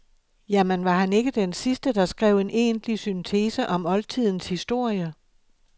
Jamen, var han ikke den sidste, der skrev en egentlig syntese om oldtidens historie?